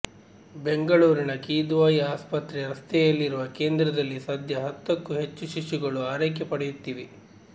ಬೆಂಗಳೂರಿನ ಕಿದ್ವಾಯಿ ಆಸ್ಪತ್ರೆ ರಸ್ತೆಯಲ್ಲಿರುವ ಕೇಂದ್ರದಲ್ಲಿ ಸದ್ಯ ಹತ್ತಕ್ಕೂ ಹೆಚ್ಚು ಶಿಶುಗಳು ಆರೈಕೆ ಪಡೆಯುತ್ತಿವೆ